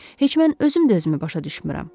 Heç mən özüm də özümü başa düşmürəm.